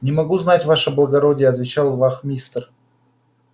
не могу знать ваше благородие отвечал вахмистр